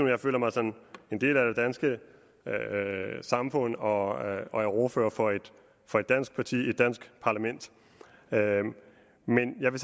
jeg føler mig som en del af det danske samfund og og er ordfører for et dansk parti i et dansk parlament men jeg vil